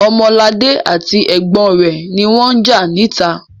Ọmọladé àti ẹ̀gbọ́n rẹ̀ ni wọ́n ń jà níta.